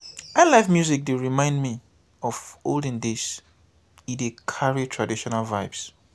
highlife music dey remind me of olden days e dey carry traditional vibes.